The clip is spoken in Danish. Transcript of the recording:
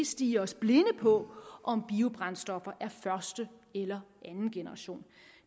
stirre os blinde på om biobrændstoffer er første eller andengeneration